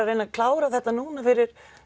að reyna að klára þetta núna fyrir